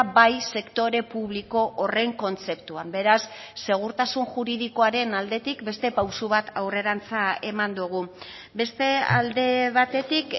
bai sektore publiko horren kontzeptuan beraz segurtasun juridikoaren aldetik beste pauso bat aurrerantz eman dugu beste alde batetik